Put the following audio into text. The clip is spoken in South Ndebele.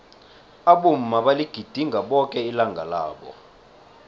abomma baligidinga boke ilanga labo